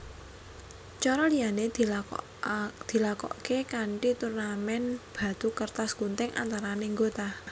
Cara liané dilakoké kanti turnamen batu kertas gunting antarané nggota